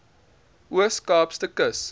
oos kaapse kus